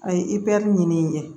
A ye i bɛ ɲini ɲɛ